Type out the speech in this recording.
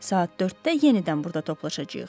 Saat 4-də yenidən burada toplaşacağıq.